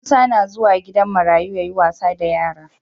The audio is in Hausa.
Musa na zuwa gidan marayu yayi wasa da yara